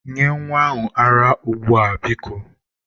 Nye nwa ahụ ara ara ugbu a biko.